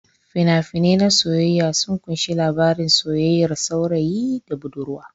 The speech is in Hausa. Fina-finan na soyayya sun kunshi labarin soyayyar saurayi da budurwa.